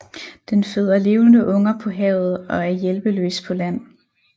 Den føder levende unger på havet og er hjælpeløs på land